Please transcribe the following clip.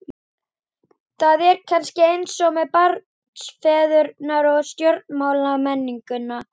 Það er kannski eins með barnsfeðurna og stjórnmálamennina.